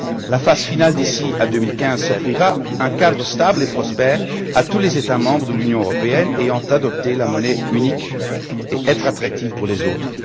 euro. La phase finale d'ici à 2015 offrira un cadre stable et prospère pour tous les États membres de l'Union européenne ayant adopté la monnaie unique et un environnement attractif pour les autres.